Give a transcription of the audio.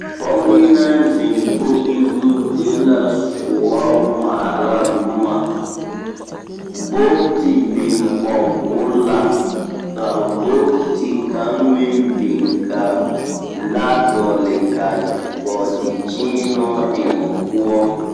Pɔge naŋ zeŋ kogi zu de la soɔ ŋmaara boma. Bogti biŋ kɔge o la ka bogti kaŋ meŋ biŋ ka laa dɔgele ka bɔɔdekyeenoo eŋ o poɔ.